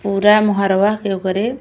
पूरा मोहरवा के ओकरे --